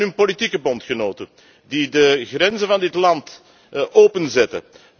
En van hun politieke bondgenoten, die de grenzen van dit land openzetten.